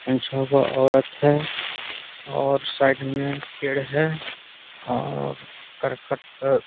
पांच-छःगो औरत है और साइड में पेड़ है और करकट अ --